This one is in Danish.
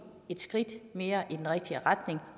et skridt længere i den rigtige retning